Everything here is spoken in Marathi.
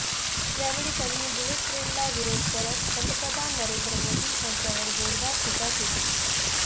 यावेळी त्यांनी बुलेट ट्रेनला विरोध करत पंतप्रधान नरेंद्र मोदी यांच्यावर जोरदार टीका केली